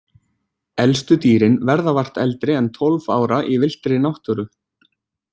Elstu dýrin verða vart eldri en tólf ára í villtri náttúru.